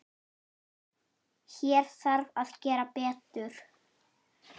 Hér þarf að gera betur.